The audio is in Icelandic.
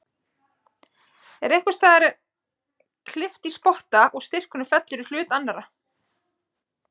En einhvers staðar er kippt í spotta og styrkurinn fellur í hlut annarrar.